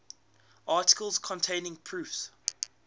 articles containing proofs